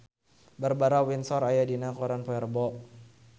Barbara Windsor aya dina koran poe Rebo